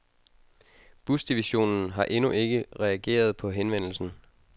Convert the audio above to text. Busdivisionen har endnu ikke reageret på henvendelsen.